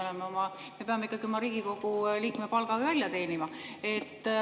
Me peame ikkagi oma Riigikogu liikme palga välja teenima.